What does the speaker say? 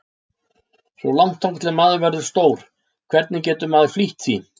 Svo langt þangað til maður verður stór, hvernig getur maður flýtt því?